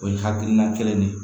O ye hakilina kelen de ye